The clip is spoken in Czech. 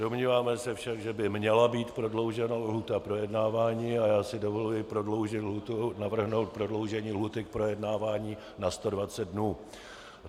Domníváme se však, že by měla být prodloužena lhůta projednávání, a já si dovoluji navrhnout prodloužení lhůty k projednávání na 120 dnů.